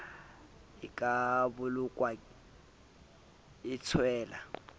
e ka bolokwang e tswella